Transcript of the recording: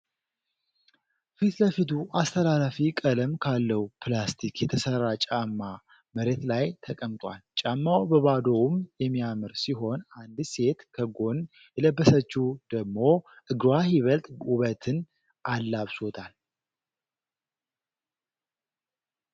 ፊት ለፊቱ አስተላላፊ ቀለም ካለው ፕላስቲክ የተሰራ ጫማ መሬት ላይ ተቀምጧል። ጫማው በባዶውም የሚያምር ሲሆን አንዲት ሴት ከጎን የለበሰችው ደሞ እግሯ ይበልጥ ዉበትን አላብሶታል።